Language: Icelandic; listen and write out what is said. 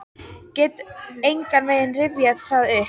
Get engan veginn rifjað það upp.